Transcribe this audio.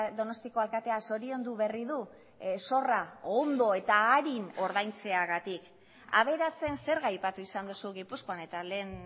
donostiako alkatea zoriondu berri du zorra ondo eta arin ordaintzeagatik aberatsen zerga aipatu izan duzu gipuzkoan eta lehen